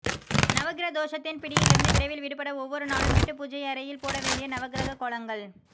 நவகிர தோஷத்தின் பிடியிலிருந்து விரைவில் விடுபட ஒவ்வொரு நாளும் வீட்டு பூஜையறையில் போட வேண்டிய நவகிரக கோலங்கள்